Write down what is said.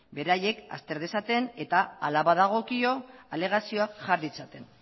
beraiek azter dezaten eta hala badagokio alegazioak jar ditzaten